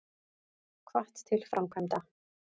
Hvatt til framkvæmda